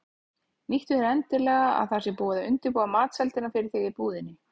Nýttu þér endilega að það sé búið að undirbúa matseldina fyrir þig í búðinni.